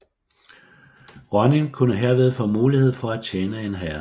Ronin kunne herved få mulighed for at tjene en herre